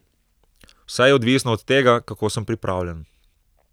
Vse je odvisno od tega, kako sem pripravljen.